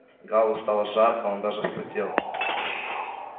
гаалу стало жарко он даже вспотел